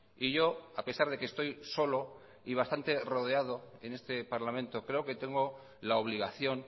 y yo a pesar de que estoy solo y bastante rodeado en este parlamento creo que tengo la obligación